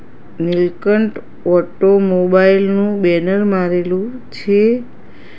Nilkanth automobile નુ banner મારેલું છે.